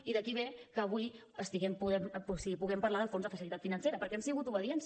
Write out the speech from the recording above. i d’aquí ve que avui puguem parlar del fons de facilitat financera perquè hem sigut obedients